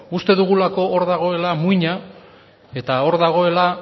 uste dugulako hor dagoela muina eta hor dagoela